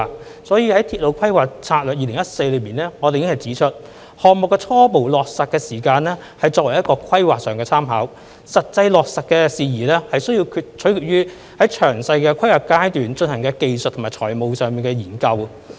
所以，我們已經在《鐵路發展策略2014》中指出，項目的初步落實時間旨在作為規劃上的參考，實際落實事宜須取決於在詳細規劃階段進行的技術和財務研究。